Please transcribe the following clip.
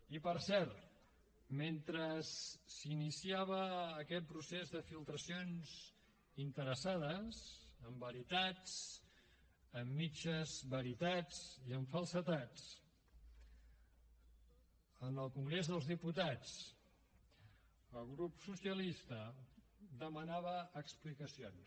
i per cert mentre s’iniciava aquest procés de filtracions interessades amb veritats amb mitges veritats i amb falsedats en el congrés dels diputats el grup socialista demanava explicacions